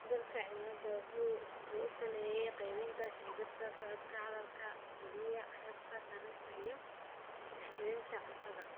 Isbeddelka cimiladu waxa uu saameeyaa qaybinta shimbiraha socdaalka, khalkhal geliya hababka taranta iyo helitaanka cuntada.